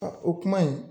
A o kuma in